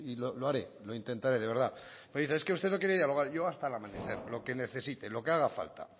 lo haré lo intentaré de verdad oiga es que usted no quiere dialogar yo hasta el amanecer lo que necesite lo que haga falta